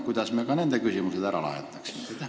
Kuidas me ka need küsimused ära lahendaksime?